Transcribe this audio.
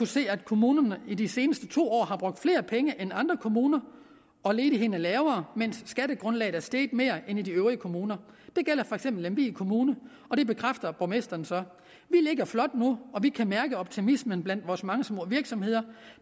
se at kommunen i de seneste to år har brugt flere penge end andre kommuner og ledigheden er lavere mens skattegrundlaget er steget mere end i de øvrige kommuner det gælder lemvig kommune og det bekræfter borgmesteren så vi ligger flot nu og vi kan mærke optimismen blandt vores mange små virksomheder